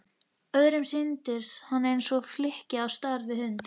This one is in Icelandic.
Öðrum sýndist hann eins og flykki á stærð við hund.